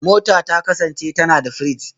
Mota ta kasance tana da firiji